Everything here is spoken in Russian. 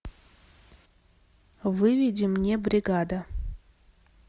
выведи мне бригада